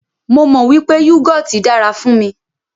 Mó mọ wípé yúgọọ́ti dára fún mí.